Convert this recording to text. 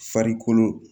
Farikolo